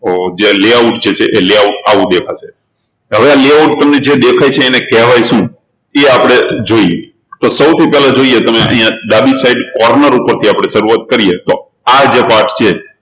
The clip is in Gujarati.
જે layout જે છે એ layout આવું દેખાશે તો હવે આ layout જે તમને જે દેખાય છે એને કહેવાય છે શું એ આપણે જોઈએ તો સૌથી પહેલા જોઈએ તમે અહિયાં ડાબી sidecorner થી આપણે શરૂઆત કરીએ તો આ જે part જે છે